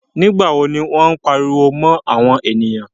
Nígbà wo ní wọ́n pariwo mọ́ àwọn èyàn?